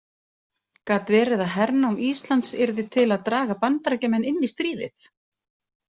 Gat verið að hernám Íslands yrði til að draga Bandaríkjamenn inn í stríðið?